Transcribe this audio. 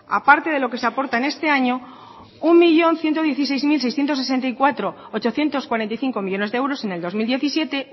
aparte de lo que se aporta en este año un millón ciento dieciséis mil seiscientos sesenta y cuatro coma ochocientos cuarenta y cinco millónes de euros en el dos mil diecisiete